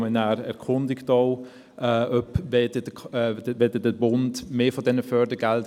Ich sehe keine Einzelsprecherinnen und Einzelsprecher.